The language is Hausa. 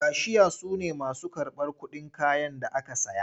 Kashiya su ne masu karɓar kuɗin kayan da aka saya.